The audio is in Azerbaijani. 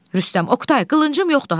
Rüstəm, Oqtay, qılıncım yoxdur ha.